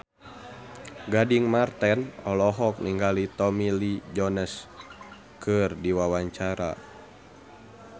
Gading Marten olohok ningali Tommy Lee Jones keur diwawancara